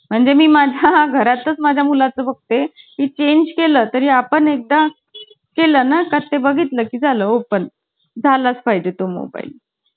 मुलांच्या bathroom मध्ये कस जाणार अगं. मग आहे ना आम्ही काय करायचो, पाचच जण आहेत ना आणि आम्ही अकरा पोरी ना. आम्ही काय करायचो एका एकाला पक~